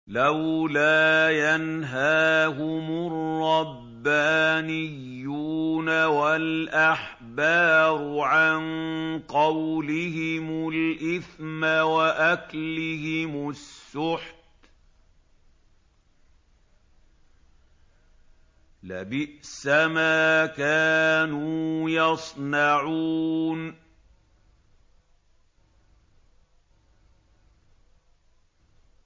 لَوْلَا يَنْهَاهُمُ الرَّبَّانِيُّونَ وَالْأَحْبَارُ عَن قَوْلِهِمُ الْإِثْمَ وَأَكْلِهِمُ السُّحْتَ ۚ لَبِئْسَ مَا كَانُوا يَصْنَعُونَ